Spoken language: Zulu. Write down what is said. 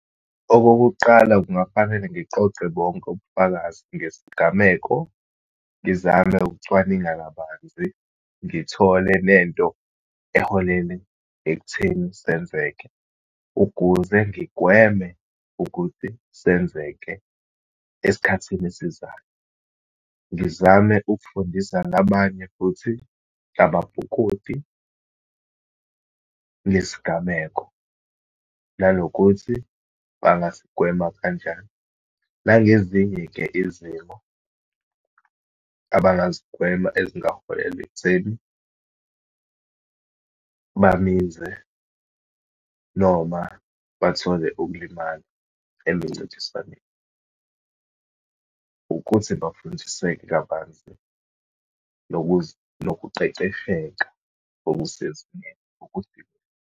Okokuqala, kungafanele ngiqoqe bonke ubufakazi ngesigameko, ngizame ukucwaninga kabanzi, ngithole lento eholele ekutheni senzeke, ukuze ngigweme ukuthi senzeke esikhathini esizayo. Ngizame ukufundisa nabanye futhi ababhukudi, ngesigameko, nanokuthi bangasigwema kanjani. Nangezinye-ke izimo abangazigwema, ezingaholela ekutheni baminze, noma bathole ukulimala emincintiswane. Ukuthi bafundiseke kabanzi nokuqeqesheka okusezingeni ukuthi.